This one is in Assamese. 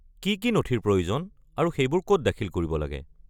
কি কি নথিৰ প্ৰয়োজন আৰু সেইবোৰ ক'ত দাখিল কৰিব লাগে?